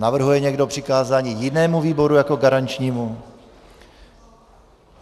Navrhuje někdo přikázání jinému výboru jako garančnímu?